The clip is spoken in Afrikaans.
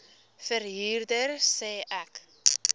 verhuurder sê ek